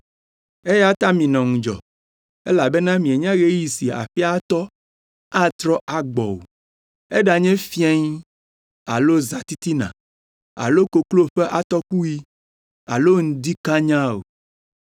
Eya ta minɔ ŋudzɔ elabena mienya ɣeyiɣi si aƒea tɔ atrɔ agbɔ o, eɖanye fiẽ alo zãtitina alo koklo ƒe atɔkuɣi alo ŋdi kanyaa o.